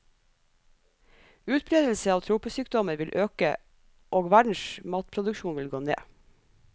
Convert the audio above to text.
Utbredelse av tropesykdommer vil øke og verdens matproduksjon vil gå ned.